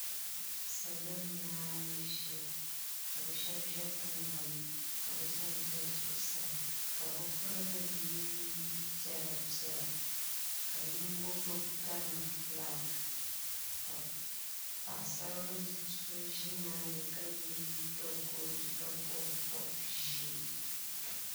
salo n laɣim ʒɛya ka be shɛbi ʒɛ tiŋgbani ka be shɛbi ʒɛ zuɣ' saa ka be pɛrigili yɛ nɛnpiɛlla piɛla ka yiŋgo gbabi gana ƒɔlaaki ka paɣ' saribiso ka yɛ liga kodo ka bobi bobi ʒiɛ